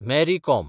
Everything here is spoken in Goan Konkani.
Mary com